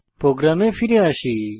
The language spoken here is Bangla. প্রোগ্রামে ফিরে আসি